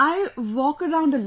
I walk around a lot